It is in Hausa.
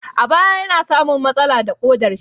A baya yana samun matsala da ƙodar shi